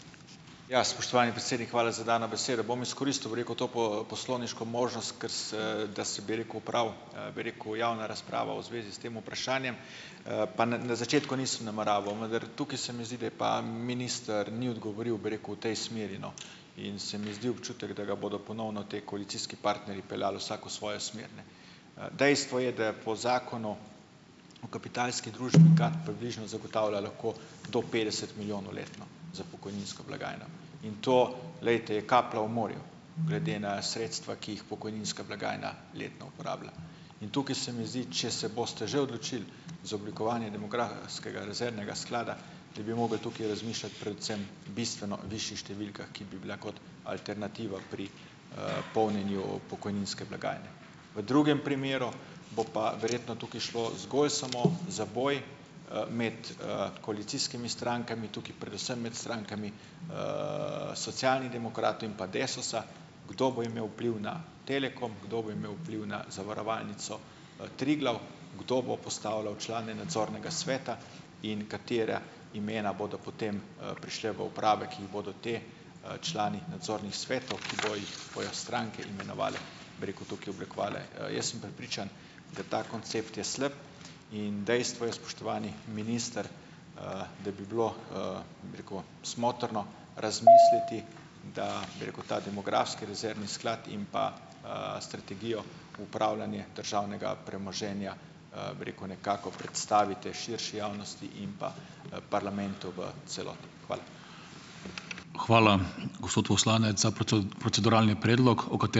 Ja, spoštovani predsednik, hvala za dano besedo. Bom izkoristil, bi rekel, to poslovniško kar se da se, bi rekel, opravi, bi rekel javna razprava v zvezi s tem vprašanjem, pa na na začetku nisem nameraval, vendar tukaj se mi zdi, da je pa minister ni odgovoril, bi rekel, v tej smeri, no, in se mi zdi občutek, da ga bodo ponovno ti koalicijski partnerji peljali vsak v svojo smer. Dejstvo je, da je po zakonu o kapitalski družbi, kar približno zagotavlja lahko do petdeset milijonov letno za pokojninsko blagajno in to, glejte, je kaplja v morju glede na sredstva, ki jih pokojninska blagajna letno uporablja. In tukaj se mi zdi, če se boste že odločili za oblikovanje demografskega rezervnega sklada, da bi mogli tukaj razmišljati predvsem bistveno višjih številkah, ki bi bile kot alternativa pri, polnjenju pokojninske blagajne. V drugem primeru bo pa verjetno tukaj šlo zgolj samo za boj, med, koalicijskimi strankami, tukaj predvsem med strankami, Socialnih demokratov in pa Desusa, kdo bo imel vpliv na Telekom, kdo bo imel vpliv na Zavarovalnico, Triglav, kdo bo postavljal člane nadzornega sveta in katera imena bodo potem, prišla v uprave, ki jih bodo ti, člani nadzornih svetov, ki bojo jih bojo stranke imenovale, bi rekel, tukaj oblikovale. Jaz sem prepričan, da ta koncept je slab, in dejstvo je, spoštovani minister, da bi bilo, bi rekel, smotrno razmisliti , da bi rekel ta demografski rezervni sklad in pa, strategijo upravljanja državnega premoženja, bi rekel, nekako predstavite širši javnosti in pa, parlamentu v celoti. Hvala.